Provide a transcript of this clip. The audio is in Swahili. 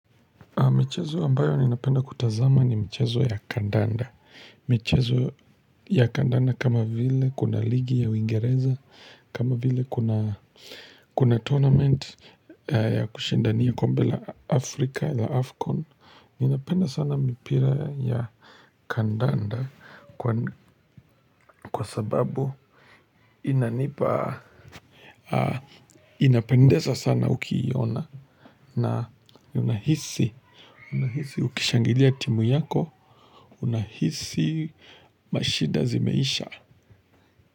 Michezo ambayo ninapenda kutazama ni michezo ya Kandanda. Michezo ya kandanda kama vile kuna ligi ya uingereza. Kama vile kuna tournament ya kushindania kombe la Afrika la Afcon. Ninapenda sana mipira ya kandanda kwa sababu inanipa. Inapendeza sana ukiiona na unahisi ukishangilia timu yako unahisi mashida zimeisha.